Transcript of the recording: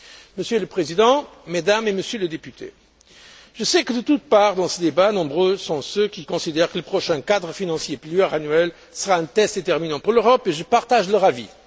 Monsieur le Président, Mesdames et Messieurs les députés, je sais que, de toutes parts, dans ce débat, nombreux sont ceux qui considèrent que le prochain cadre financier pluriannuel sera un test déterminant pour l'Europe, et je partage leur avis.